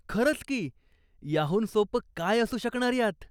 खरंच की! याहून सोपं काय असू शकणार यात.